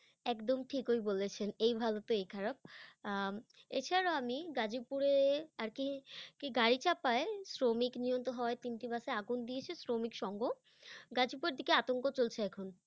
একদম ঠিকই বলেছেন, এই ভালো তো এই খারাপ, আহ এছাড়াও আমি, গাজীপুরে আর কি- কি গাড়ি চাপায় শ্রমিক নিহত হওয়ার তিনটি বাসে আগুন দিয়েছে শ্রমিক সংঘ । গাজীপুরের দিকে আতঙ্ক চলছে এখন।